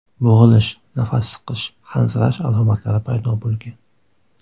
Bo‘g‘ilish, nafas siqish, hansirash alomatlari paydo bo‘lgan.